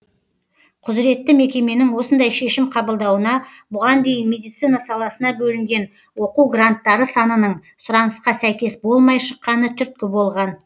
құзыретті мекеменің осындай шешім қабылдауына бұған дейін медицина саласына бөлінген оқу гранттары санының сұранысқа сәйкес болмай шыққаны түрткі болған